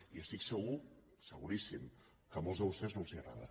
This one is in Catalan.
i estic segur seguríssim que a molts de vostès no els agrada